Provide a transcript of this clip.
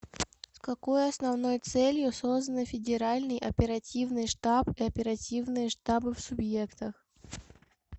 с какой основной целью созданы федеральный оперативный штаб и оперативные штабы в субъектах